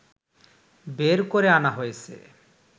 বের করে আনা হয়েছে